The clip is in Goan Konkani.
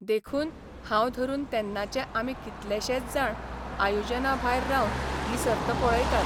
देखून हांव धरून तेन्नाचे आमी कितलेशेच जाण आयोजना भायर रावन ही सर्त पळयतात.